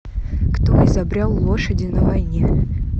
кто изобрел лошади на войне